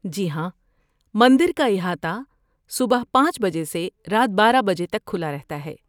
جی ہاں. مندر کا احاطہ صبح پانچ بجے سے رات بارہ بجے تک کھلا رہتا ہے